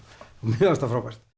og mér fannst það frábært